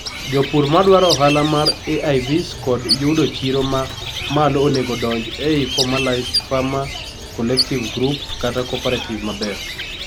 jopur madwaro ohala mar AIVs kod yudo chiro ma malo onego donj ei formalised farmer collective gruop kata cooperative maber